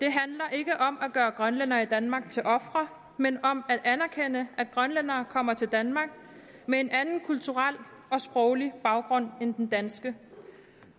ikke om at gøre grønlændere i danmark til ofre men om at anerkende at grønlændere kommer til danmark med en anden kulturel og sproglig baggrund end den danske